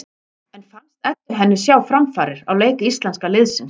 En fannst Eddu henni sjá framfarir á leik íslenska liðsins?